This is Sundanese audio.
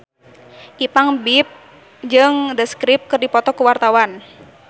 Ipank BIP jeung The Script keur dipoto ku wartawan